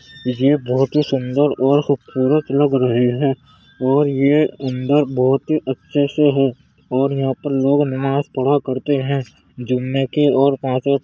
ये बोहोत ही सुंदर और खूबसूरत लग रहे हैं और ये अंदर बहोत ही अच्छे से है और यहाँ पर लोग नमाज़ पढ़ा करते हैं जुम्मे के और पांचों --